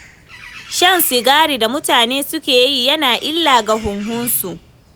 Shan sigari da mutane suke yi yana illa ga huhunsu.